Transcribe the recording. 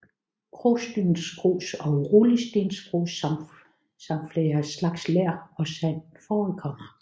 Krosstensgrus og rullestensgrus samt flere slags ler og sand forekommer